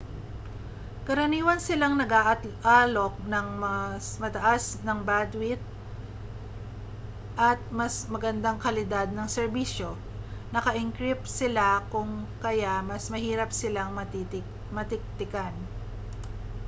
karaniwan silang nag-aalok ng mas mataas ng bandwidth at mas magandang kalidad ng serbisyo naka-encrypt sila kung kaya mas mahirap silang matiktikan